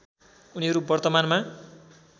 उनीहरू वर्तमानमा